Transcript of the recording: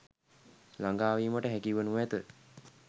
ළඟාවීමට හැකි වනු ඇත.